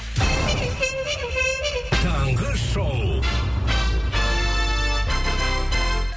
таңғы шоу